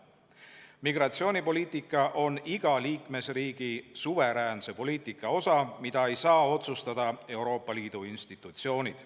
Migratsioonipoliitika on iga liikmesriigi suveräänse poliitika osa, mida ei saa otsustada Euroopa Liidu institutsioonid.